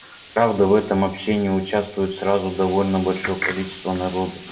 правда в этом общении участвует сразу довольно большое количество народу